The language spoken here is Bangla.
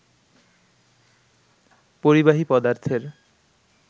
পরিবাহী পদার্থের